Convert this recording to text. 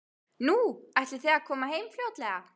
Nú, ætlið þið að koma heim fljótlega?